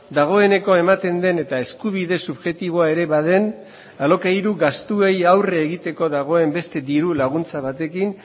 dagoeneko ematen den eta eskubide subjektiboa ere baden alokairu gastuei aurre egiteko dagoen beste diru laguntza batekin